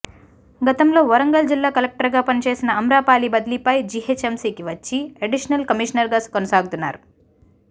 గతంలో వరంగల్ జిల్లా కలెక్టర్గా పనిచేసిన ఆమ్రపాలి బదిలీపై జీహెచ్ఎంసీకి వచ్చి అడిషనల్ కమిషనర్గా కొనసాగుతున్నారు